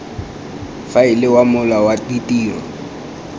faela wa mola wa ditiro